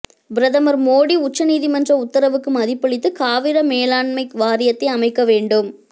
பிரதமர் மோடி உச்ச நீதிமன்ற உத்தரவுக்கு மதிப்பளித்து காவிரி மேலாண்மை வாரியத்தை அமைக்க வேண்டும்